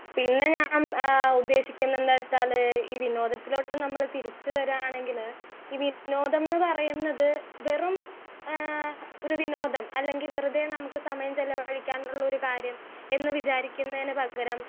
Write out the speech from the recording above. speaker 1 പിന്നെ ഞാൻ ഏഹ് ഉദ്ദേശിക്കുന്നെ എന്താന്ന് വെച്ചാൽ ഈ വിനോദത്തിലോട്ടും നമ്മൾ തിരിച്ച് വരാണെങ്കിൽ ഈ വിനോദം ന്ന് പറയുന്നത് വെറും ഏഹ് ഒരു വിനോദം അല്ലെങ്കി വെറുതെ നമ്മുക്ക് സമയം ചെലവഴിക്കാനുള്ളൊരു കാര്യം എന്ന് വിചാരിക്കുന്നെന് പകരം